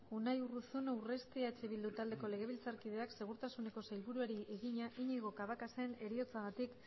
unai urruzuno urresti eh bildu taldeko legebiltzarkideak segurtasuneko sailburuari egina iñigo cabacasen heriotzagatik